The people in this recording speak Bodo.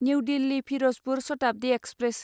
new Delhi Firozpur Shatabdi express